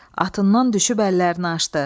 Atından düşüb əllərini açdı.